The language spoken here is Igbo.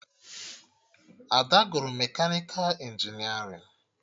Ada gụrụ mekanịka injinerịn